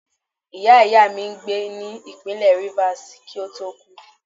Ìyá ìyá mi n gbè ni ipinle rivers, ki o to ku.